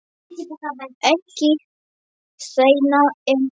Ekki seinna en tíu.